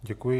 Děkuji.